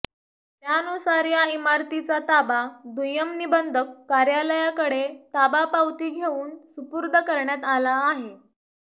त्यानुसार या इमारतीचा ताबा दुय्यम निबंधक कार्यालयाकडे ताबा पावती घेऊन सुपूर्द करण्यात आला आहे